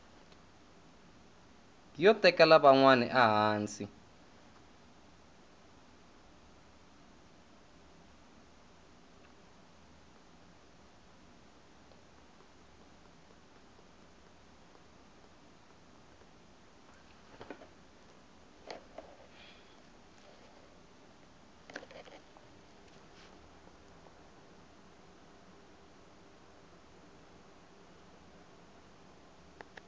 yo tekela van wana ehansi